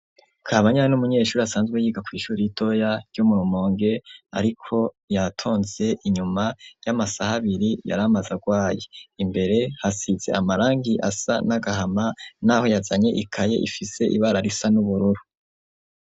Kabanya n'umunyeshure asanzwe yiga kw'ishure ritoya ryo mu Rumonge ariko yatonze inyuma y'amasaha abiri yari amaze arwaye, imbere hasize amarangi asa n'agahama n'aho yazanye ikaye ifise ibara risa n'ubururu.